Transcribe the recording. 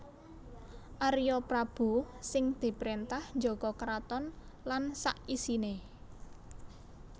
Arya Prabu sing diprintah njaga keraton lan sak isiné